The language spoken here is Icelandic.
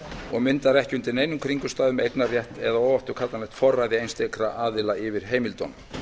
og myndar ekki undir neinum kringumstæðum eignarrétt eða óafturkallanlegt forræði einstakra aðila yfir heimildunum